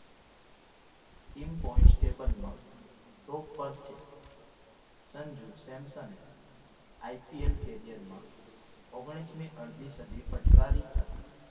Team constable માં top પર છે સંજુ સેમસંગ IPL career માં ઓગણીસમી અડધી સદી ફટકારી હતી.